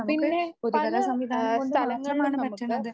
പിന്നെ ആഹ് പലസ്ഥലങ്ങളിലും നമുക്ക്